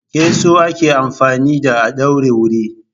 Keso ake amfani da a ɗaure wuri.